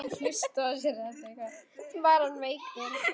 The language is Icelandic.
Var hann veikur?